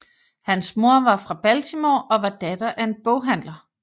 Hans mor var fra Baltimore og var datter af en boghandler